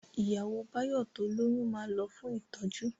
Ìyàwó Báyọ̀ tó lóyún ma lọ fún ìtọ́jú